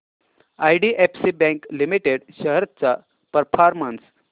IDFC bank limited shares चा performance